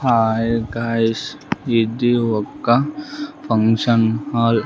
Hi guys ఇది ఒక function hall .